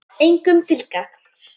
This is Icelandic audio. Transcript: Engum til gagns.